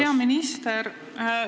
Hea minister!